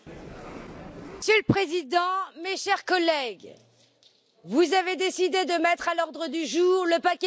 Monsieur le Président, mes chers collègues, vous avez décidé de mettre à l'ordre du jour le paquet mobilité.